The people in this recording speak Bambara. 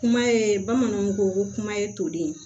Kuma ye bamananw ko kuma ye toli